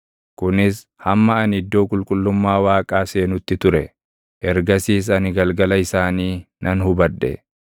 Kunis hamma ani iddoo qulqullummaa Waaqaa seenutti ture; ergasiis ani galgala isaanii nan hubadhe.